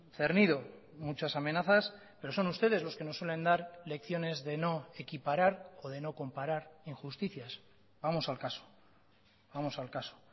cernido muchas amenazas pero son ustedes los que nos suelen dar lecciones de no equiparar o de no comparar injusticias vamos al caso vamos al caso